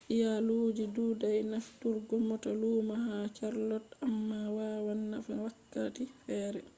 iyaaluuji dudai nafturgo mota luumo ha charlotte amma waawan nafa wakkati fere